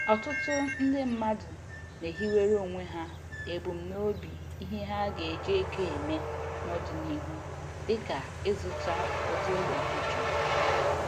Ọtụtụ ndị mmadụ na-ehiwere onwe ha ebumnobi ihe ha ga-eji ego eme n'ọdịnihu dịka ịzụta ụdị ụlọ ha chọrọ